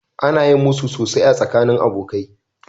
Ana yin musu sosai a tsakanin abokai.